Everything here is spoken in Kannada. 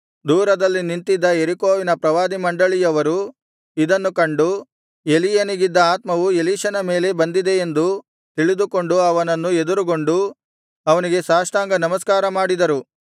ದೂರದಲ್ಲಿ ನಿಂತಿದ್ದ ಯೆರಿಕೋವಿನ ಪ್ರವಾದಿ ಮಂಡಳಿಯವರು ಇದನ್ನು ಕಂಡು ಎಲೀಯನಿಗಿದ್ದ ಆತ್ಮವು ಎಲೀಷನ ಮೇಲೆ ಬಂದಿದೆ ಎಂದು ತಿಳಿದುಕೊಂಡು ಅವನನ್ನು ಎದುರುಗೊಂಡು ಅವನಿಗೆ ಸಾಷ್ಟಾಂಗ ನಮಸ್ಕಾರ ಮಾಡಿದರು